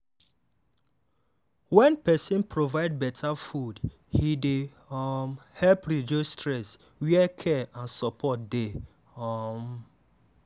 wen person provide better food e dey um help reduce stress where care and support dey. um